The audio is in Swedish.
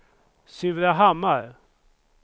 Surahammar